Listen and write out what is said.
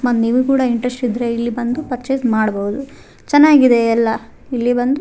ಮತ್ ನೀವು ಕೂಡ ಇಂಟ್ರೆಸ್ಟ್ ಇದ್ರೆ ಇಲ್ಲಿ ಬಂದು ಪರ್ಚೆಸ್ ಮಾಡ್ಬಹುದು ಚೆನ್ನಾಗಿದೆ ಎಲ್ಲ ಇಲ್ಲಿ ಬಂದು --